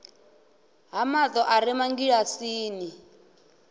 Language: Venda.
ha mato a re mangilasini